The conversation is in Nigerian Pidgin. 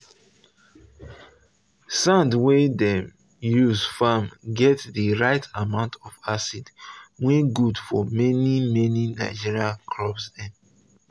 sand wey dem use farm get the right amount of acid wey good for many many nigerian crops dem.